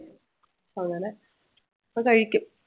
അങ്ങനെ അത് കഴിക്കും